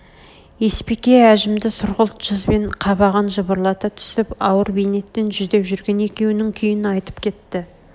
есбике ажымды сұрғылт жүз мен қабағын жыбырлата түсіп ауыр бейнеттен жүдеп жүрген екеунің күйн айтып кетті